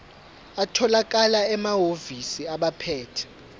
atholakala emahhovisi abaphethe